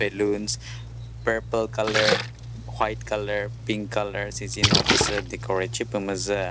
balloons purple colour white colour pink colour süzino püsü decorate shi püh müzü.